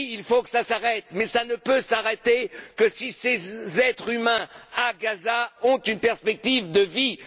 Oui, il faut que cela s'arrête, mais cela ne pourra s'arrêter que si ces êtres humains, à Gaza, ont une perspective de vie!